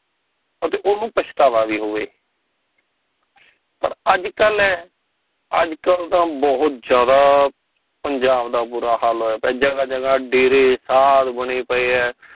ਅਤੇ ਓਹਨੂੰ ਪਛਤਾਵਾ ਵੀ ਹੋਵੇ ਪਰ ਅੱਜ ਕਲ ਏ ਅੱਜ ਕੱਲ ਤਾ ਬਹੁਤ ਜਾਂਦਾ ਪੰਜਾਬ ਦਾ ਬੁਰਾ ਹਾਲ ਹੋਇਆ ਪਿਆ ਜਗ੍ਹਾ ਜਗ੍ਹਾ ਡੇਰੇ ਸ਼ਾਦ ਬਣੇ ਪਏ ਆ